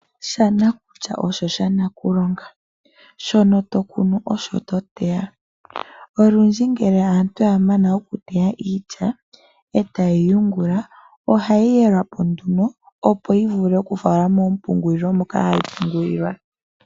Shanakulya osho shanakulonga. Shono tokunu osho toteya. Olundji ngele aantu yamana okuteya iilya etayeyi yungula ohayi yelwapo nduno opo yivule okifalwa moompungulilo moka hayi pungulilwa.